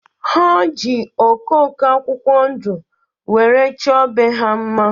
Ha ji okoko akwụkwọ ndu were chọ be ha mma